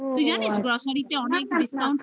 তুই জানিস grocery অনেক discount